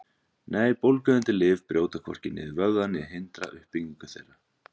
Nei, bólgueyðandi lyf brjóta hvorki niður vöðva né hindra uppbyggingu þeirra.